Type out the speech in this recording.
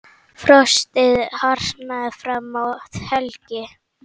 Frostið harðnar fram að helgi.